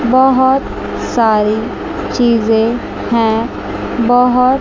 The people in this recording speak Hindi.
बहोत सारी चीजें है बहोत--